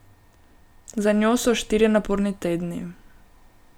Za njo so štirje naporni tedni.